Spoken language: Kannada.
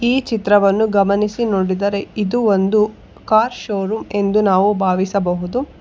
ಈ ಚಿತ್ರವನ್ನು ಗಮನಿಸಿ ನೋಡಿದರೆ ಇದು ಒಂದು ಕಾರ್ ಶೋರೂಮ್ ಎಂದು ನಾವು ಭಾವಿಸಬಹುದು.